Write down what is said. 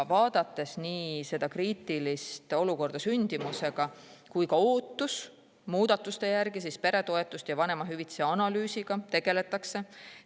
Vaadates nii seda kriitilist olukorda sündimusega kui ka ootust muudatuste järele, peretoetuste ja vanemahüvitise analüüsiga tegeldakse.